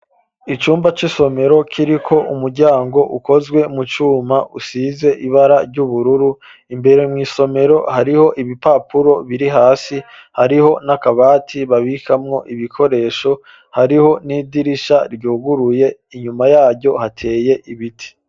Icumba c'isomero kiriko umuryango ukozwe mu cuma usize ibara ry'ubururu, imbere mw'isomero hariho ibipapuro biri hasi, hariho n'akabati babikamwo ibikoresho hariho n'idirisha ryuguruye inyuma yaryo hateye ibiti.